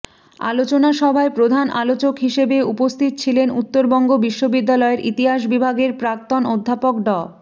আলোচনাসভায় প্রধান আলোচক হিসেবে উপস্থিত ছিলেন উত্তরবঙ্গ বিশ্ববিদ্যালয়ের ইতিহাস বিভাগের প্রাক্তন অধ্যাপক ড